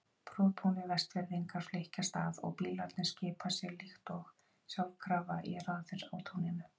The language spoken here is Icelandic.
Prúðbúnir Vestfirðingar flykkjast að og bílarnir skipa sér líkt og sjálfkrafa í raðir á túninu.